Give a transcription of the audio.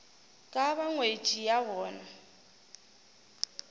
ka ba ngwetši ya bona